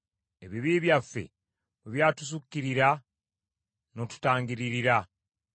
Ebibi byaffe bwe byatusukkirira, n’otutangiririra.